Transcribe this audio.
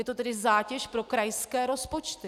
Je to tedy zátěž pro krajské rozpočty.